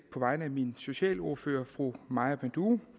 på vegne af min socialordfører fru maja panduro